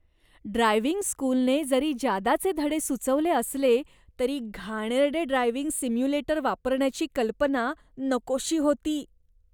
Driving स्कूलने जरी जादाचे धडे सुचवले असले तरी, घाणेरडे ड्रायव्हिंग सिम्युलेटर वापरण्याची कल्पना नकोशी होती.